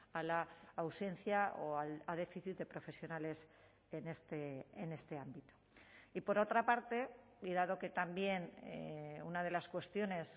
a la ausencia o al déficit de profesionales en este ámbito y por otra parte y dado que también una de las cuestiones